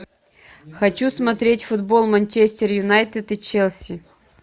хочу смотреть футбол манчестер юнайтед и челси